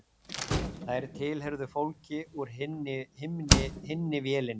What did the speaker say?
Þær tilheyrðu fólki úr hinni vélinni